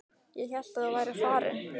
Ég hélt að þú værir farinn.